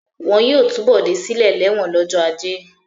Wọn yóò tú Bọ̀dé sílẹ̀ lẹ́wọ̀n lọ́jọ́ ajé.